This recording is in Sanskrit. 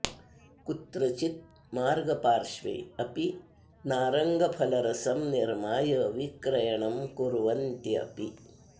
कुत्रचित् मार्गपार्श्वे अपि नारङ्गफलरसं निर्माय विक्रयणं कुर्वन्ति अपि